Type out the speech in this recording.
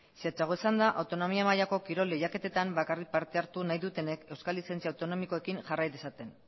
zehatzago esanda autonomia mailako kirol lehiaketetan bakarrik parte hartu nahi dutenek euskal lizentzia autonomikoekin jarrai dezaten